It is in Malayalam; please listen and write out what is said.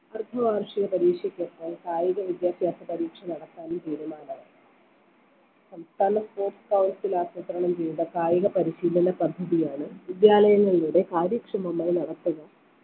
അർദ്ധ വാർഷിക പരീക്ഷയ്‌ക്കെത്താൻ കായിക വിദ്യാഭ്യാസ പരീക്ഷ നടത്താനും തീരുമാനമായി സംസ്ഥാന sports തലത്തിൽ ആസൂത്രണം ചെയ്ത കായിക പരിശീലന പദ്ധതിയാണ് വിദ്യാലയങ്ങളിലൂടെ കാര്യക്ഷമമായി നടത്തുക